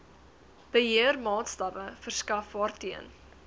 beheermaatstawwe verskaf waarteen